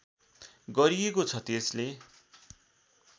गरिएको छ त्यसले